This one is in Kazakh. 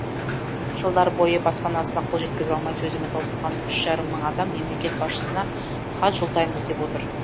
жылдар бойы баспанасына қол жеткізе алмай төзімі таусылған үш жарым мың адам мемлекет басшысына хат жолдаймыз деп отыр